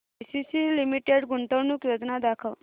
ACC Limited गुंतवणूक योजना दाखव